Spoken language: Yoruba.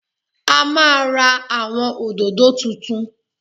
A máa ra àwọn òdòdó tuntun